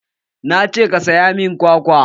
Na ce ka saya min kwakwa!